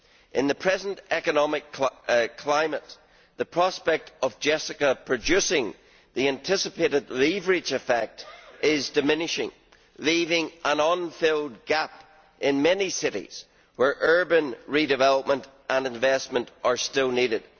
In the present economic climate, the prospect of JESSICA producing the anticipated leverage effect is diminishing, leaving an unfilled gap in many cities where urban redevelopment and investment are still needed.